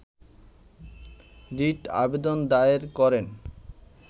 writ আবেদন দায়ের করেন